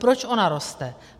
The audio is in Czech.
Proč ona roste?